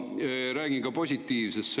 Aga räägin ka positiivsest.